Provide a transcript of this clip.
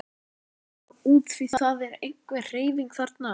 Við skulum fara út því það er einhver hreyfing þarna.